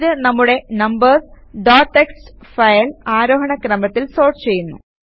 ഇത് നമ്മുടെ numbers dot TXT file ആരോഹണ ക്രമത്തിൽ സോർട്ട് ചെയ്യുന്നു